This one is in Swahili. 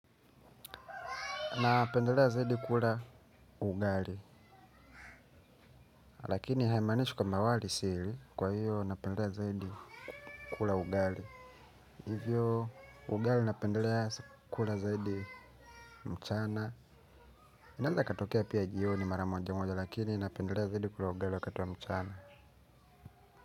Napendelea zaidi kula ugali, lakini haimanishi kwamba wali sili kwa hiyo napendelea zaidi kula ugali. Hivyo, ugali napendelea kula zaidi mchana. Inanda katokea pia jioni mara mojamoja, lakini napendelea zaidi kula ugali wakati wa mchana.